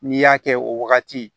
N'i y'a kɛ o wagati